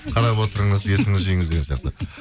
қарап отырыңыз есіңізді жиыңыз деген сияқты